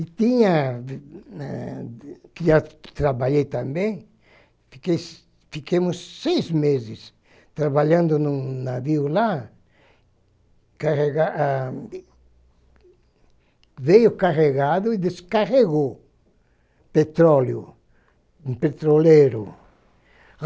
E tinha, ah que já trabalhei também, fiquei ficamos seis meses trabalhando em um navio lá, carrega veio carregado ah e descarregou petróleo, um petroleiro.